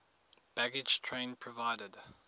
baggage train provided